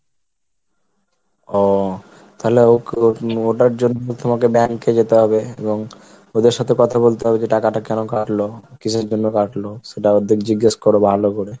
ও তাহলে ওটার জন্য তোমাকে bank এ যেতে হবে এবং ওদের সাথে কথা বলতে হবে যে টাকাটা কেন কাটলো? কিসের জন্য কাটলো? সেটা ওদের জিজ্ঞেস করো ভালো করে।